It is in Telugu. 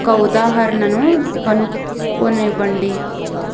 ఒక ఉదాహరణను కనుగొనివ్వండి